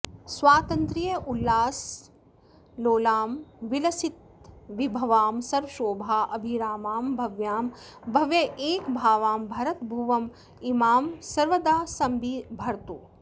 स्वातन्त्र्योल्लासलोलां विलसितविभवां सर्वशोभाभिरामां भव्यां भव्यैकभावां भरत भुवमिमां सर्वदा सम्बिभर्तु